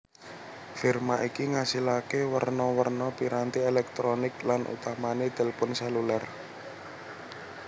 Firma iki ngasilaké werna werna piranti èlèktronik lan utamané tilpun sèlulêr